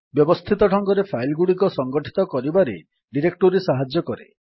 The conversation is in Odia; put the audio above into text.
ବ୍ୟବସ୍ଥିତ ଢଙ୍ଗରେ ଫାଇଲ୍ ଗୁଡିକ ସଂଗଠିତ କରିବାରେ ଡିରେକ୍ଟୋରୀ ସାହାଯ୍ୟ କରେ